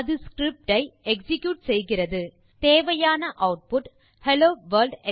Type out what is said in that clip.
அது ஸ்கிரிப்ட் ஐ எக்ஸிக்யூட் செய்கிறது தேவையான ஆட்புட் ஹெல்லோ வர்ல்ட்